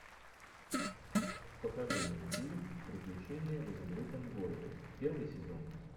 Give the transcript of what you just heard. покажи мне фильм приключения в изумрудном городе первый сезон